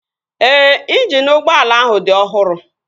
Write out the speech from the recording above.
Ee, injini ụgbọala ahụ dị ọhụrụ